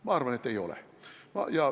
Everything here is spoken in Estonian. Ma arvan, et ei ole.